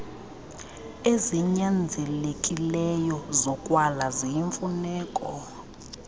ezinyanzelekileyo zokwala ziyimfuneko